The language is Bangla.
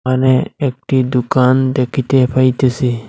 এখানে একটি দোকান দেখিতে পাইতেসি।